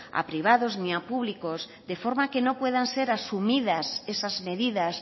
a privados ni a públicos de forma que no puedan ser asumidas esas medidas